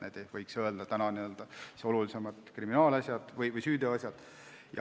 Need on, võiks öelda, olulisemad kriminaalasjad või süüteoasjad.